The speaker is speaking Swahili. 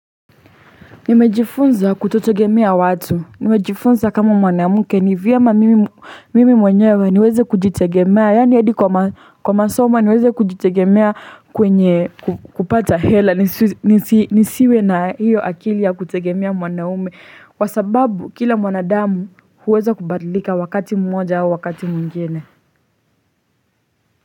Nimejifunza kutotegemea watu. Nimejifunza kama mwanamke ni vyema mimi mwenyewe niweze kujitegemea. Yaani hadi kwa masoma niweze kujitegemea kwenye kupata hela nisiwe na hiyo akili ya kutegemea mwanaume. Kwa sababu kila mwanadamu huweza kubadlika wakati mmoja au wakati mwingine.